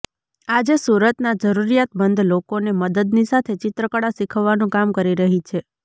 આજે સુરતના જરૂરિયાતમંદ લોકોને મદદની સાથે ચિત્રકળા શીખવવાનું કામ કરી રહી છે